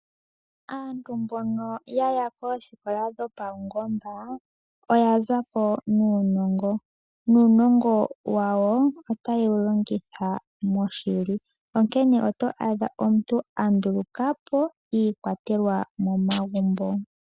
Aantu mbono yaya koosikola dhapaungomba oya za po nuunongo. Uunongo wawo otaye wu longitha moshili, onkene otwa adha omuntu andulukapo iikwatelwa yomomagumbo.